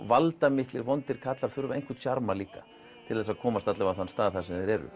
valdamiklir vondir kallar þurfa einhvern sjarma líka til þess að komast allavega á þann stað sem þeir eru